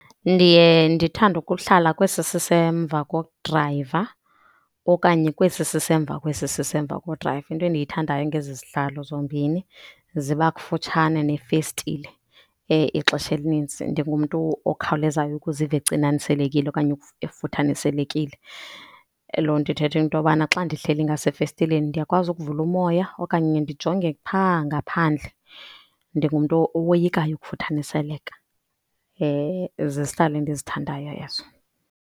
Ndiye ndithande ukuhlala kwesi sisemva kodrayiva okanye kwesi sisemva kwesi sisemva kodrayiva. Into endiyithandayo ngezi zihlalo zombini ziba kufutshane nefestile. Ixesha elininzi ndingumntu okhawulezayo ukuziva ecinanisekile okanye efuthaniselekile, loo nto ithetha into yobana xa ndihleli ngasefestileni ndiyakwazi ukuvula umoya okanye ndijonge phaa ngaphandle. Ndingumntu owoyikayo ukufuthaniseleka. Zizihlalo endizithandayo ezo.